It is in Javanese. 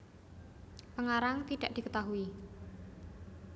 Pengarang tidak diketahui